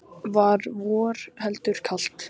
Var vor heldur kalt.